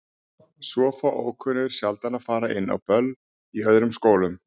Svo fá ókunnugir sjaldan að fara inn á böll í öðrum skólum.